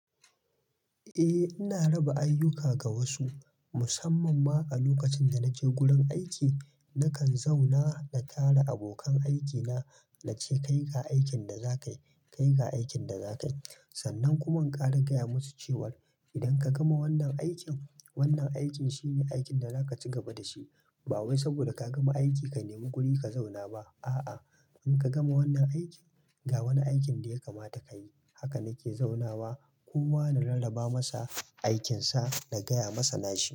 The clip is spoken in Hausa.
Eh, ina raba ayyuka ga wasu musamman ma a lokacin da nake gurin aiki. Nakan zauna da kare abokan aiki na, na ce, "ka yi ga aikin da za ka yi, ka yi ga aikin da za ka yi." Sannan kuma in ƙara gaya musu cewa, idan ka gama wannan aikin, wannan aikin shine aikin da za ka ci gaba da shi. Ba wai saboda ka gama aiki ka nemi guri ka zauna ba. A'a, in kagama wannan aikin, ga wani aikin da ya kamata ka yi. Haka nake zauna wa, kowa na rarraba masa aikin sa, na gaya masa na shi.